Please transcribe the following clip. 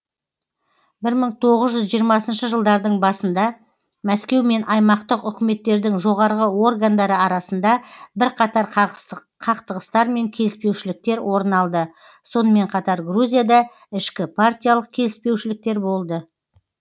бір мың тоғыз жүз жиырмасыншы жылдардың басында мәскеу мен аймақтық үкіметтердің жоғарғы органдары арасында бірқатар қақтығыстар мен келіспеушіліктер орын алды сонымен қатар грузияда ішкіпартиялық келіспеушіліктер болды